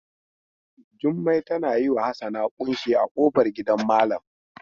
Jummai tana yi wa Hassana ƙunshi a ƙofar gidan malam.